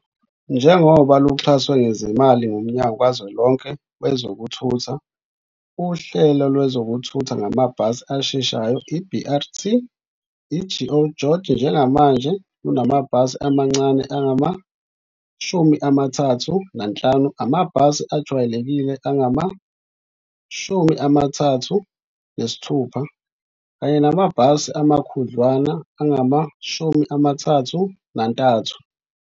Njengoba luxhaswe ngezimali nguMnyango kaZwelonke WezokuThutha, uhlelo lwezokuthutha ngamabhasi asheshayo, i-BRT i-GO GEORGE njengamanje lunamabhasi amancane angama-35, amabhasi ajwayelekile angama-36 namabhasi amakhudlwana angama-33.